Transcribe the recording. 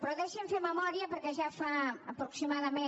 però deixi’m fer memòria perquè ja fa aproximada·ment